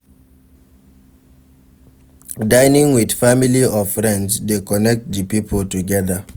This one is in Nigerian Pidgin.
Dinning with family or friends de connect di pipo together